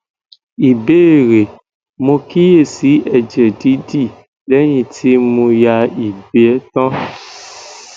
ìbéèrè mo kíyèsí ẹjẹ didi leyin ti mo ya igbe tan